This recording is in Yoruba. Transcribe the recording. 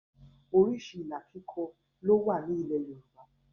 Oríṣi ìlà kíkọ ló wà ní ilẹ̀ Yorùbá